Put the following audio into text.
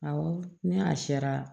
Awɔ ni a sera